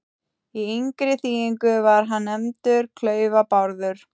Í yngri þýðingu var hann nefndur Klaufa-Bárður.